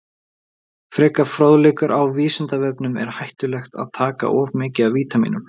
Frekari fróðleikur á Vísindavefnum: Er hættulegt að taka of mikið af vítamínum?